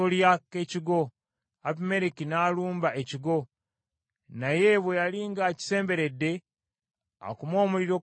Abimereki n’alumba ekigo, naye bwe yali ng’akisemberedde, akume omuliro ku mulyango gwakyo,